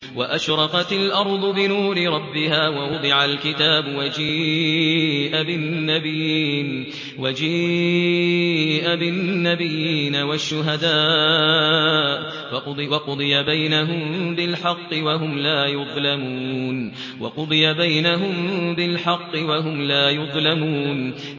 وَأَشْرَقَتِ الْأَرْضُ بِنُورِ رَبِّهَا وَوُضِعَ الْكِتَابُ وَجِيءَ بِالنَّبِيِّينَ وَالشُّهَدَاءِ وَقُضِيَ بَيْنَهُم بِالْحَقِّ وَهُمْ لَا يُظْلَمُونَ